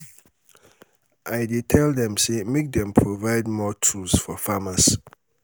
i dey tell dem sey make dem um provide more um tools for farmers.